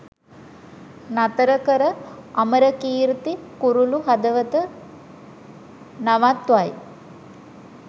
නතර කර අමරකීර්ති කුරුලු හදවත නවත්වයි